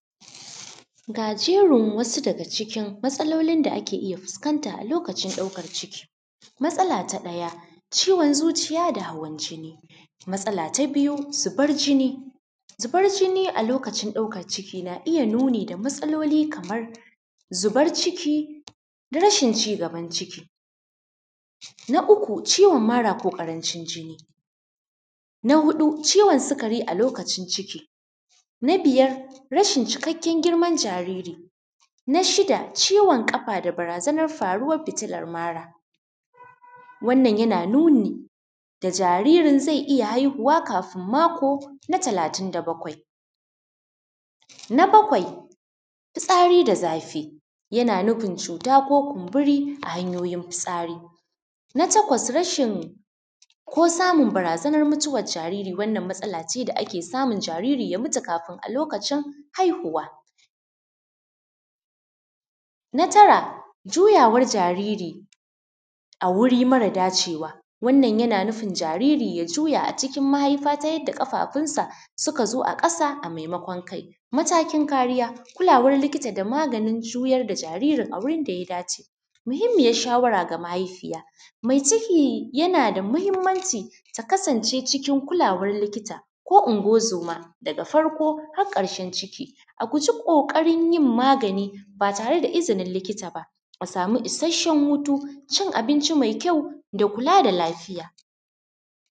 Ga jerin wasu daga cikin matsalolin da ake iya fuskanta a lokacin ɗaukan ciki, matsala ta ɗaya ciwon zuciya da hawan jinni, matsala ta biyu zubar jinni, zubar jinni a lokacin ɗaukan ciki na iya nuni da matsaloli kamar zubar ciki da rashin cigaban ciki, na uku ciwon mara ko karancin jinni, na huɗu ciwon sigari a lokacin ciki, na biyar rashin cikakken girman jariri, na shida ciwon kafa da barazanan fitinan mara, wannan yana nuni da jaririn zai iya haihuwa kafin mako na talatin da baƙwai, na baƙwai fisari da zafi, yana nufin cuta ko kumɓuri a hanyoyin fusari, na taƙwas rashin ko samun barzanan mutuwar zariri, wannan matsala ce da ake samun jariri ya mutu kafin a lokacin haihuwa, na tara juyawan jariri a wuri mara dacewa, wannan yana nufin jariri ya juya a cikin mahaifa ta yadda kafafunsa suka zo a kasa a maimaƙwan kai, matakin kariya kulawan likita da maganin juyar da jaririn a wurin da ya dace. Muhimmiyar shawara ga mahaifiya, mai ciki yana da muhimmanci ta kasance cikin kulawar likita ko uguwan zoma daga farko har karshen ciki, a guji kokarin yin magani ba tare da izinin likita ba, a samu isasshen hutu, cin abinci mai kyau da kula da lafiya.